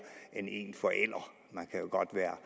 end en forælder man kan jo godt være